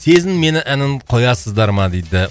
сезін мені әнін қоясыздар ма дейді